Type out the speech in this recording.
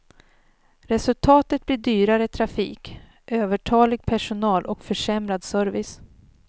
Resultatet blir dyrare trafik, övertalig personal och försämrad service.